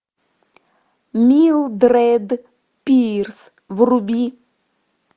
милдред пирс вруби